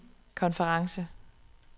konference